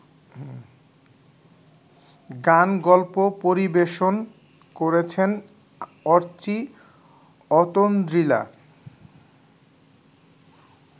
গানগল্প পরিবেশন করেছেন অর্চি অতন্দ্রিলা